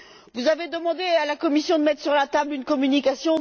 Vous avez demandé à la Commission de mettre sur la table une communication.